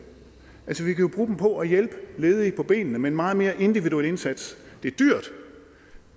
jo bruge dem på at hjælpe ledige på benene med en meget mere individuel indsats det er dyrt